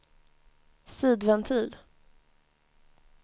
sidventil